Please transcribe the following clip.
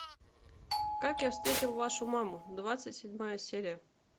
как я встретил вашу маму двадцать седьмая серия